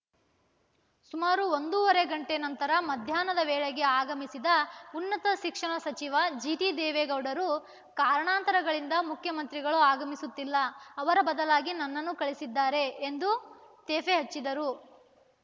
ಸುಮಾರು ಒಂದೂವರೆ ಗಂಟೆ ನಂತರ ಮಧ್ಯಾಹ್ನದ ವೇಳೆಗೆ ಆಗಮಿಸಿದ ಉನ್ನತ ಶಿಕ್ಷಣ ಸಚಿವ ಜಿಟಿದೇವೇಗೌಡರು ಕಾರಣಾಂತರಗಳಿಂದ ಮುಖ್ಯಮಂತ್ರಿಗಳು ಆಗಮಿಸುತ್ತಿಲ್ಲ ಅವರ ಬದಲಾಗಿ ನನ್ನನ್ನು ಕಳಿಸಿದ್ದಾರೆ ಎಂದು ತೇಫೆ ಹಚ್ಚಿದರು